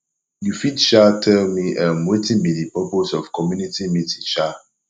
you fit um tell me um wetin be di purpose of community meeting um